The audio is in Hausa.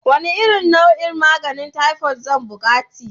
Wane nau'in maganin taifot zan buƙati?